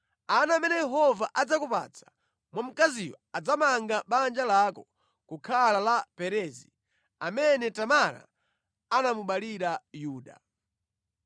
Ana amene Yehova adzakupatsa mwa mkaziyu adzamange banja lako kukhala la Perezi, amene Tamara anamubalira Yuda.”